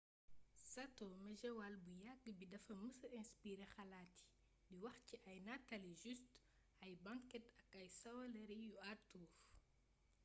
sato mejewaal bu yagg bi dafa mësa inspiré xalaat yi di wax ci ay nataali joustes ay banket ak ay sëwalëri yu arthur